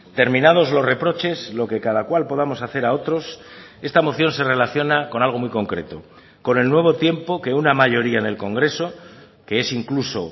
terminados los reproches lo que cada cual podamos hacer a otros esta moción se relaciona con algo muy concreto con el nuevo tiempo que una mayoría en el congreso que es incluso